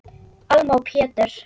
Alma og Pétur.